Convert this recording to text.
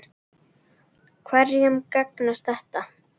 Hverjum gagnast þetta?